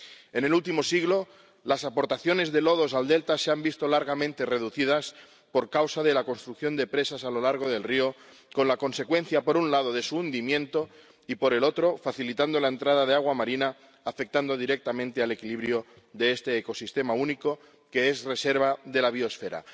En el último siglo, las aportaciones de lodos al delta se han visto largamente reducidas por causa de la construcción de presas a lo largo del río, con la consecuencia, por un lado, de su hundimiento, y por el otro, la entrada de agua marina, lo que afecta directamente al equilibrio de este ecosistema único que es reserva de la biosfera.